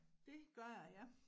Det gør jeg ja